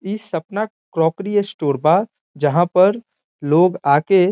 इ Sapna crockery store बा जहां पर लोग आके --